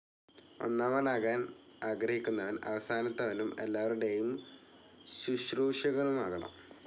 ഒന്നമാനാകാൻ ആഗ്രഹിക്കുന്നവൻ അവസാനത്തവനും എല്ലാവരുടെയും ശുശ്രൂഷകനുമാകണം.